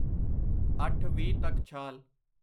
ਅੱਠ ਵੀਹ ਤੱਕ ਛਾਲ